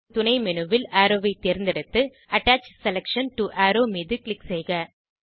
துணைmenu ல் அரோவ் ஐ தேர்ந்தெடுத்து அட்டச் செலக்ஷன் டோ அரோவ் மீது க்ளிக் செய்க